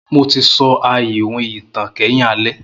Mo ti so a iwin itan kẹhin alẹ.